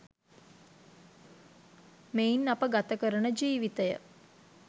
මෙයින් අප ගත කරන ජීවිතය